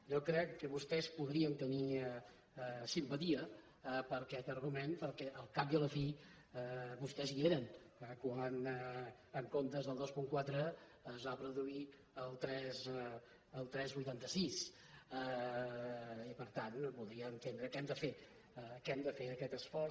jo crec que vostès podrien tenir simpatia per aquest argument perquè al cap i a la fi vostès hi eren quan en comptes del dos coma quatre es va produir el tres coma vuitanta sis i per tant podria entendre que hem de fer aquest esforç